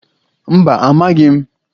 Mba, amaghị m